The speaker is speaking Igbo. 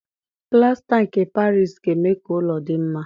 Plasta nke Parisi ga-eme ka ụlọ dị mma